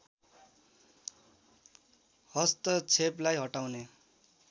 हस्तक्षेपलाई हटाउने